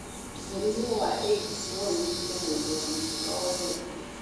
Mũrimũ wa AIDS no ũnyite mũndũ wa mĩaka o yothe